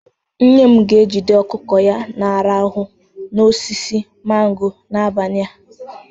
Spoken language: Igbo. Nne m ga-ejide ọkụkọ ya na-arahụ n'osisi mango n'abalị a.